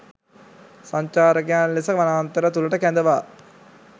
සංචාරකයන් ලෙස වනාන්තර තුළට කැඳවා